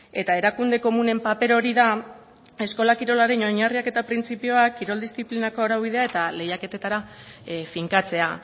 eta erakunde komunen paper hori da eskola kirolaren oinarriak eta printzipioak kirol diziplinako araubidea eta lehiaketetara finkatzea